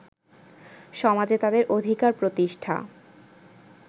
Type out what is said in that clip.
সমাজে তাদের অধিকার প্রতিষ্ঠা